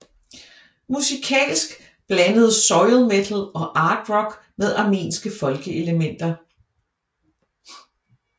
Musikalsk blandede Soil metal og art rock med armenske folkeelementer